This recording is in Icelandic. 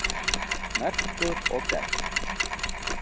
Merkur og gegn.